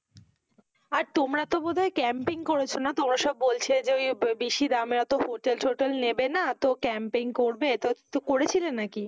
আর তোমরা তো বোধ হয় campign করেছো না? তোমরা সব বলেছিলে যে ওই আহ বেশি দামের ওতো hotel টোটেল নেবে না, তো campaign করবে, তো তো করেছিলে না কি?